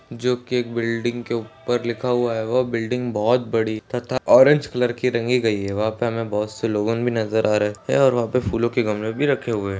जो एक बिल्डिंग के ऊपर लिखा हुआ है वोह बिल्डिंग बहुत बड़ी तथा ऑरेंज कलर की रंगी गई है वहाँ पर हमे बहुत से लोगोन भी नज़र आ रहे है और वहाँ पे फूलों के गमले भी रखे हुए।